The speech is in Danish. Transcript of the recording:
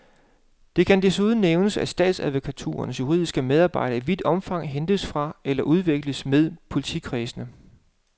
Det kan desuden nævnes, at statsadvokaturernes juridiske medarbejdere i vidt omfang hentes fra eller udveksles med politikredsene.